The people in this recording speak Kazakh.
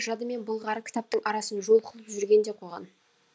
жады мен былғары кітаптың арасын жол қылып жүрген де қойған